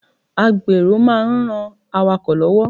A gbèrò máa ń ran awakọ̀ lọ́wọ́.